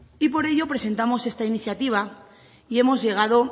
y por ello presentamos esta iniciativa y hemos llegado